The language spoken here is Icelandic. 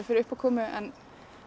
fyrir uppákomu en